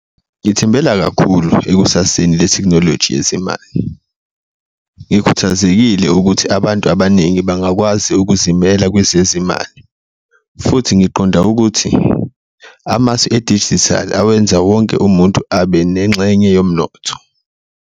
Ngithembela kakhulu ekusaseni lethekhinoloji , ngikhuthazekile ukuthi abantu abaningi bangakwazi ukuzimela kwezezimali futhi ngiqonda ukuthi amasu edijithali awenza wonke umuntu abe nengxenye yomnotho.